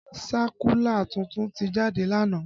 Sákúlà tuntun ti jáde lánàá